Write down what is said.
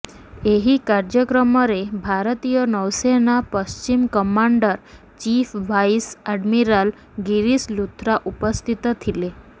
ଏହି କାର୍ଯ୍ୟକ୍ରମରେ ଭାରତୀୟ ନୌସେନା ପଶ୍ଚିମ commander chief vice admiral Girish Luthra ଉପସ୍ଥିତ ଥିଲେ